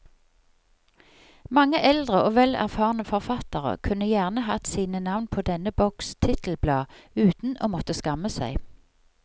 Mange eldre og vel erfarne forfattere kunne gjerne hatt sine navn på denne boks titelblad uten å måtte skamme seg.